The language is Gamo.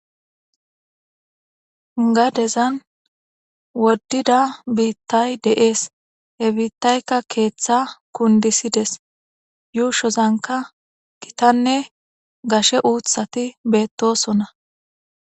gadezan woddida biittay de7ees he biittaykka keeththa kundisides yuushozanka gitanne gashe uuthati beettosona